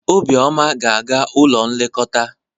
Obioma ga-aga n'ụlọ nlekọta.